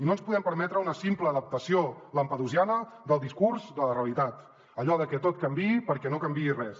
no ens podem permetre una simple adaptació lampedusiana del discurs de la realitat allò de que tot canviï perquè no canviï res